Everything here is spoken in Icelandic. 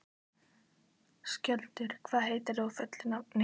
Skjöldur, hvað heitir þú fullu nafni?